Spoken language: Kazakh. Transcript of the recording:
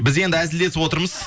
біз енді әзілдесіп отырмыз